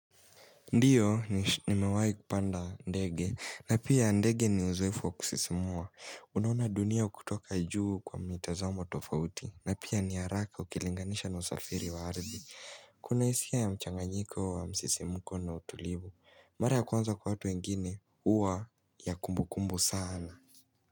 Ndiyo nimewai kupanda ndege na pia ndege niuzoefu wa kusisimua. Unaona dunia kutoka juu kwa mitazamo tofauti na pia ni haraka ukilinganisha na usafiri wa ardhi Kuna hisia ya mchanganyiko wa msisimuko na utulivu. Mars ya kwanza kwa hatu wengine huwa ya kumbu kumbu saana.